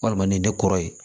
Walima nin de kɔrɔ ye